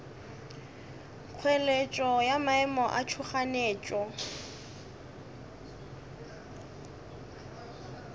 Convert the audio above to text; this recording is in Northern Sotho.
kgoeletšo ya maemo a tšhoganetšo